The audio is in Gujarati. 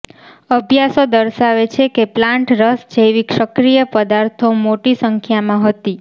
અભ્યાસો દર્શાવે છે કે પ્લાન્ટ રસ જૈવિક સક્રિય પદાર્થો મોટી સંખ્યામાં હતી